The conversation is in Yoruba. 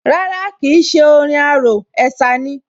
Rárá kìí ṣé orin arò, ẹ̀sà ni